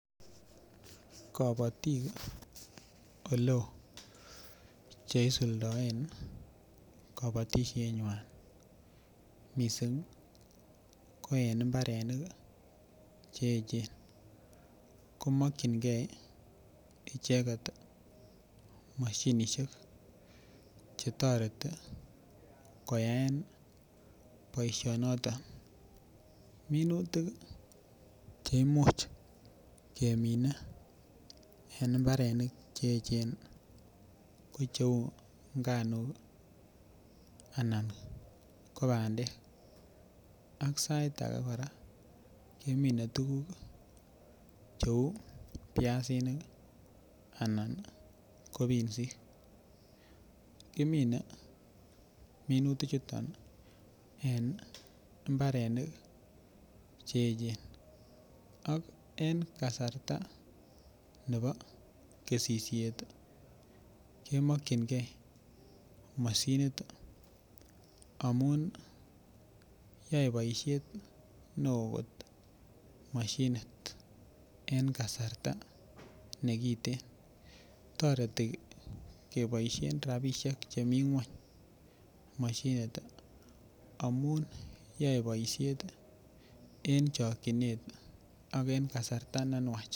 Kobotiik eleoo cheisuldoen kobotisiet nywan missing ko en mbarenik cheechen ko mokyin gee icheket moshinisiek chetoreti keyaen boisionoton, minutik cheimuch kemine en mbarenik cheechen ko cheu nganuk ana ko bandek ak sait age kora kemine tuguk cheu biasinik anan ko pinsik kimine minutik chuton en mbarenik cheechen ak en kasarta nebo kesisiet kemokyingee moshinit amun yoe boisiet neoo moshinit en kasarta nekiten toreti keboisien rapisiek chemii ng'weny moshinit amun yoe boisiet en chokyinet ak en kasarta nenwach